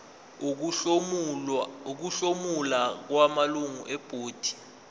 ukuhlomula kwamalungu ebhodi